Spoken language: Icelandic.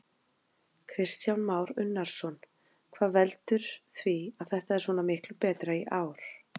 Kristján Már Unnarsson: Hvað veldur því að þetta er svona miklu betra í ár?